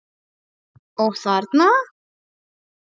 Og þarna?